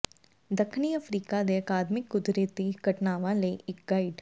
ਦੱਖਣੀ ਅਫ਼ਰੀਕਾ ਦੇ ਅਕਾਦਮਿਕ ਕੁਦਰਤੀ ਘਟਨਾਵਾਂ ਲਈ ਇੱਕ ਗਾਈਡ